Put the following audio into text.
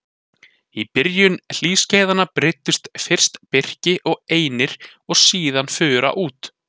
Í byrjun hlýskeiðanna breiddust fyrst birki og einir og síðan fura út.